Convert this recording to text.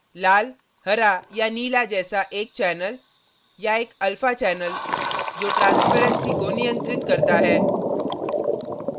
लाल हरा या नीला जैसा एक channel या एक alpha channel जो transparency को नियंत्रित करता है